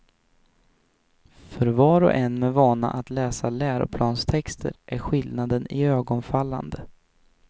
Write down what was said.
För var och en med vana att läsa läroplanstexter är skillnaden iögonfallande.